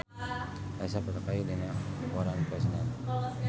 Elsa Pataky aya dina koran poe Senen